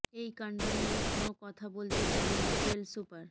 এই কাণ্ড নিয়ে কোনও কথা বলতে চাননি জেল সুপার